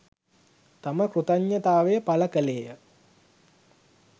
තම කෘතඥතාවය පළකළේය